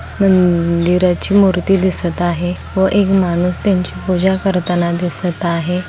मंदिराची मूर्ती दिसत आहे व एक माणूस त्यांची पूजा करताना दिसत आहे.